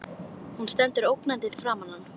Hún stendur ógnandi fyrir framan hann.